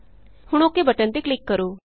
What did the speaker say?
ਹੁਣ OKਬਟਨ ਤੇ ਕਲਿਕ ਕਰੋ